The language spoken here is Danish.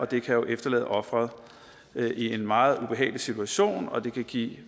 det kan efterlade offeret i en meget ubehagelig situation og det kan give